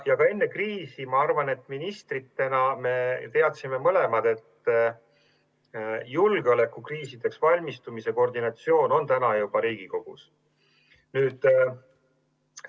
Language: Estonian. Ja ka enne kriisi me ministritena teadsime küllap mõlemad, et julgeolekukriisideks valmistumise koordinatsioon on täna juba Riigikantselei pädevuses.